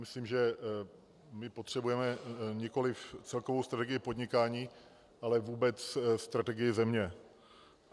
Myslím, že my potřebujeme nikoliv celkovou strategii podnikání, ale vůbec strategii země.